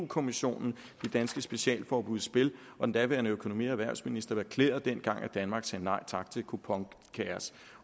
kommissionen de danske specialforbud i spil og den daværende økonomi og erhvervsminister erklærede dengang at danmark sagde nej tak til et kuponkaos